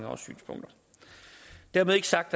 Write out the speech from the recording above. og synspunkter dermed ikke sagt